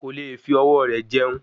Ko leè fi ọwọ́ rẹ̀ jẹun